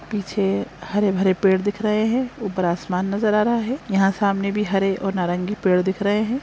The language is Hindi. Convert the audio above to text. पीछे हरे भरे पेड़ दिख रहे है ऊपर आसमान नज़र आ रहा है यहाँ सामने भी हरे और नारंगी पेड़ दिख रहे हैं ।